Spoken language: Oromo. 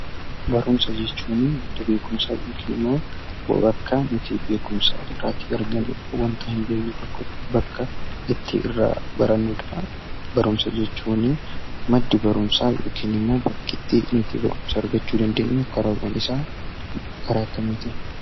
Barumsa jechuuni; madda beekumsa ykn immoo bor akka nuuyi beekumsa irraati argannudha, wanta hin bekne tokko bakka itti irraa barannudha. Barumsa jechuuni maddi barumsa ykn immoo bakki nutti itti barunsa argachuu dandeenyuu karaawwan isaa karaa akkamittin?